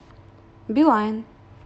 билайн